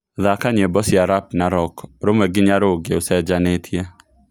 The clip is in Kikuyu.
thaaka nyĩmbo cia rap na rock rũmwe nginya rũngi ũcenjanĩtie